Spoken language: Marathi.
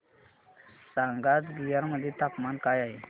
सांगा आज बिहार मध्ये तापमान काय आहे